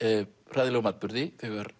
hræðilegum atburði þegar